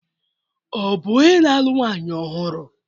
Ọ bụ onye na-alụ nwanyị ọhụrụ?